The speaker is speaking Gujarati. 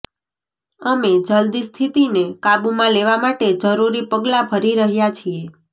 અમે જલદી સ્થિતિને કાબુમાં લેવા માટે જરૂરી પગલાં ભરી રહ્યાં છીએ